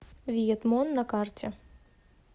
виетмон на карте